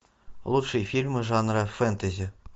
лучшие фильмы жанра фэнтези